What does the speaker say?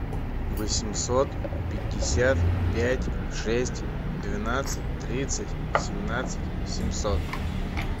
восемьсот пятьдесят пять шесть двенадцать тридцать семнадцать семьсот